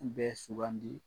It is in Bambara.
N bɛ sugandi